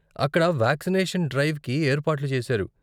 అక్కడ వాక్సినేషన్ డ్రైవ్కి ఏర్పాట్లు చేసారు.